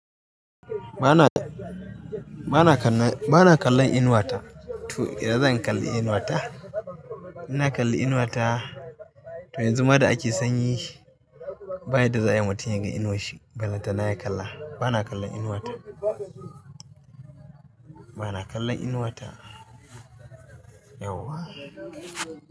Ba na, ba na kallon, ba na kallon Inuwa ta. To, idan ya za ai in kalli Inuwa ta, inna kalli Inuwa ta to yanzu ma da ake sanyi, bayan da za a yi mutum ya ga inuwar shi, ballan ta na ya kalla. Ba na kallon Inuwa ta. Ba na kallon Inuwa ta yauwa.